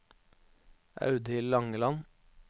Audhild Langeland